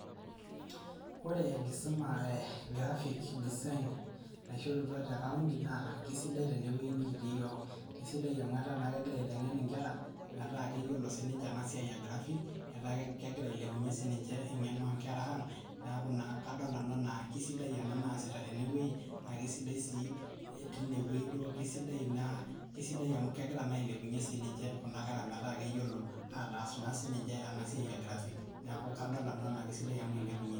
Ore enkisuma e graphic design, naishorutwa te county na keisidai tene nikiti iyiok, esidai na amu kegira aitengen inkera meeta keyiolo sininche ena siai e graphic, eta kengira ailepunyie sininye engeno onkera ang, niaku na kadol nanu ena kisai ena nasita tine weuji, na kisiadi si tine weuji si duo kisidai kisidai amu kengira na ailepunyie sininche kuna kera meeta keyiolo na atas ena siai e graphic niaku kadol sianunu ajo kisidai amu ilepunyie.